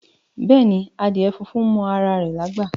Beeni, adíè fúnfún mọ ara rè lágbá.